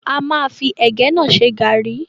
A máa fi ẹ̀gẹ́ náà ṣe garri